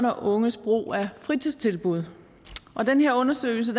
og unges brug af fritidstilbud og den undersøgelse